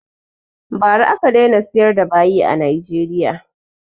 Ba ra aka daina siyar da bayi a Nigeria